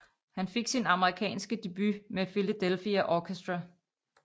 Han fik sin amerikanske debut med Philadelphia Orchestra